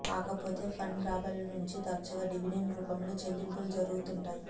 కాకపోతే ఫండ్ రాబడుల నుంచి తరచుగా డివిడెండ్ రూపంలో చెల్లింపులు జరుగుతుంటాయి